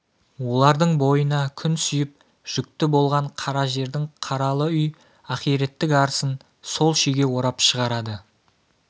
олардың бойына күн сүйіп жүкті болған қара жердің қаралы үй ахиреттік арысын сол шиге орап шығарады